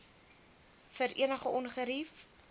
vir enige ongerief